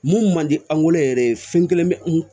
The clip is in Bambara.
Mun man di an yɛrɛ ye fɛn kelen bɛ n kun